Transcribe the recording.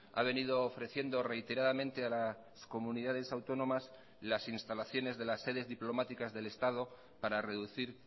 ha venido ofreciendo reiteradamente a las comunidades autónomas las instalaciones de las sedes diplomáticas del estado para reducir